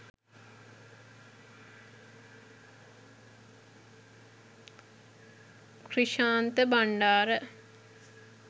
krishantha bandara